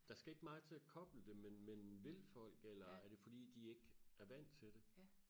der skal ikke meget til og koble det men men vil folk eller er det fordi de ikke er vant til det